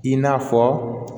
I n'a fɔ